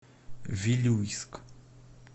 вилюйск